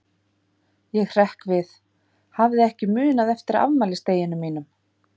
Ég hrekk við, hafði ekki munað eftir afmælisdeginum mínum.